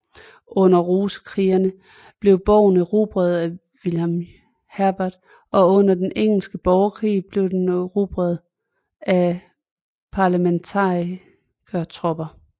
Under rosekrigene blev borgen erobret af William Herbert og under den engelske borgerkrig blev den erobret af parlementarikertropper